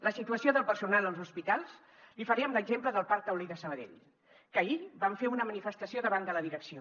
la situació del personal als hospitals li faré amb l’exemple del parc taulí de sabadell que ahir van fer una manifestació davant de la direcció